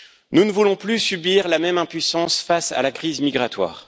Nous ne voulons plus subir la même impuissance face à la crise migratoire.